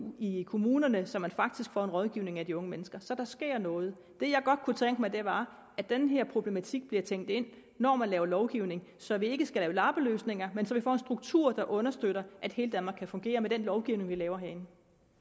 i kommunerne så man faktisk får en rådgivning af de unge mennesker så der sker noget det jeg godt kunne tænke mig var at den her problematik bliver tænkt ind når man laver lovgivning så vi ikke skal lave lappeløsninger men så vi får en struktur der understøtter at hele danmark kan fungere med den lovgivning vi laver herinde